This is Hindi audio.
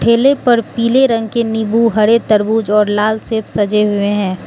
ठेले पर पीले रंग के नींबू हरे तरबूज और लाल सेब सजे हुए हैं।